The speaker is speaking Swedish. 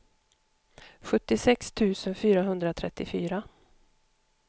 sjuttiosex tusen fyrahundratrettiofyra